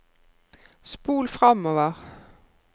spol framover